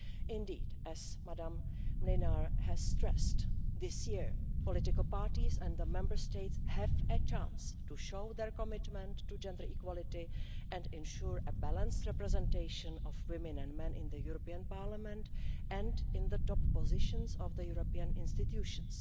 Indeed, as Ms Mlinar has stressed, this year political parties and the Member States have a chance to show their commitment to gender equality and ensure a balanced representation of women and men in the European Parliament and in the top positions of the European institutions.